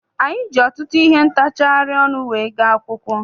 Anyị ji ọtụtụ ihe ntachari ọnụ wee gaa akwụkwọ.